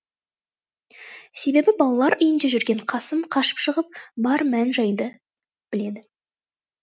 себебі балалар үйінде жүрген қасым қашып шығып бар мән жайды біледі